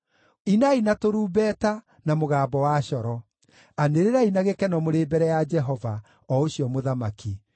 inai na tũrumbeta, na mũgambo wa coro: anĩrĩrai na gĩkeno mũrĩ mbere ya Jehova, o ũcio Mũthamaki.